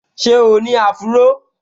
Ṣé o ní áfúró?